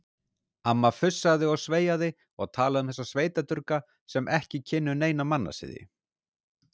Amma fussaði og sveiaði og talaði um þessa sveitadurga sem ekki kynnu neina mannasiði.